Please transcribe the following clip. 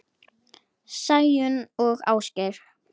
Sæunn og Ásgeir.